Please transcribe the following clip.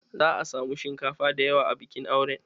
Za'a samu shinkafa dayawa a bikin auren